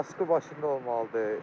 Kaskı başında olmalıdır.